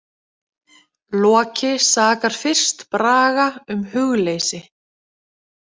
Loki sakar fyrst Braga um hugleysi.